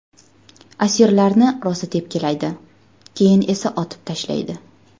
Asirlarni rosa tepkilaydi, keyin esa otib tashlaydi.